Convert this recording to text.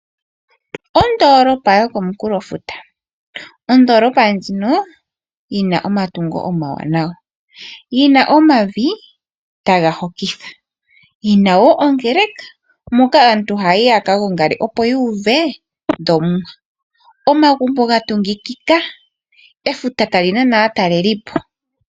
Ondoolopa yokomukulofuta, ondoolopa ndjino yina omatungo omawanawa yina omavi taga hokitha, yina wo ongele ka moka aantu haya yi yaka gongale opo yuuve dhoOmuwa. Omagumbo ga tungikika , efuta tali nana aataleli po.